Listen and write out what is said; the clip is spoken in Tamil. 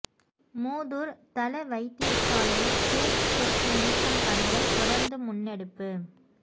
மூதூர் தள வைத்தியசாலையில் கிருமி தொற்று நீக்கும் பணிகள் தொடர்ந்து முன்னெடுப்பு